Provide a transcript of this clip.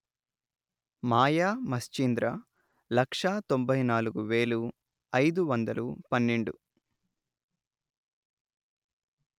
మాయా మశ్చీంద్ర లక్షా తొంభై నాలుగు వేలు అయిదు వందలు పన్నెండు